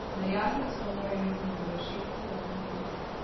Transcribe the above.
Merjasec pa mora imeti na voljo šest kvadratnih metrov.